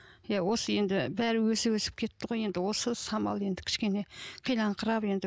иә осы енді бәрі өсіп өсіп кетті ғой енді осы самал енді кішкене қиналыңқырап енді